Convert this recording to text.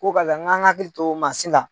Ko karisa hakili to mansin la.